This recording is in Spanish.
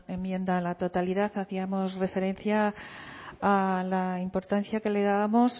enmienda a la totalidad hacíamos referencia a la importancia que le dábamos